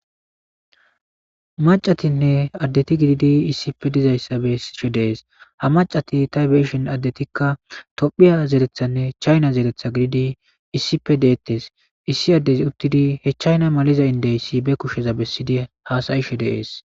Mac'atinne adeti gididi issipe de'zaysa besishe de'es. Ha mac'ati tophiya zerethanne chayna zeretha gididi issippe deletes. Issi adezi utidi ba kusheza chayna maliza indeys ba kusheza besidi hasayishe de'es.